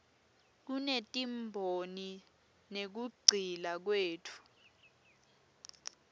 kutetimboni nekugcila kwetfu